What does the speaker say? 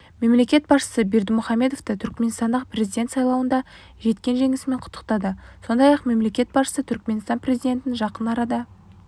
мемлекет басшысы бердімұхамедовті түрікменстандағы президент сайлауында жеткен жеңісімен құттықтады сондай-ақ мемлекет басшысы түрікменстан президентін жақын арада